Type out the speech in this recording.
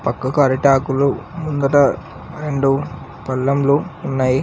పక్కకు అరటి ఆకులు ముందట రెండు పల్లెంలు ఉన్నాయి.